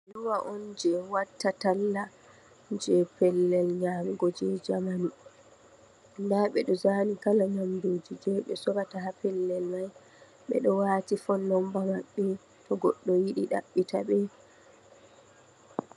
Alluwa on je watta talla je pellel nyamugo je jamanu, nda ɓe ɗo zani kala nyamduji je ɓe sorata ha pellel mai, ɓe ɗo wati fone numba maɓɓe to goɗɗo yidi taɓɓita ɓe.